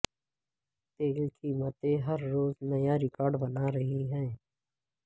تیل قیمتیں ہر روز نیا ریکارڈ بنا رہی ہیں